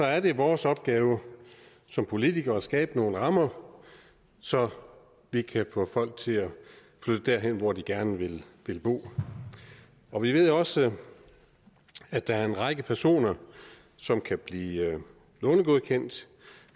er det vores opgave som politikere at skabe nogle rammer så vi kan få folk til at flytte derhen hvor de gerne vil bo vi ved også at der er en række personer som kan blive lånegodkendt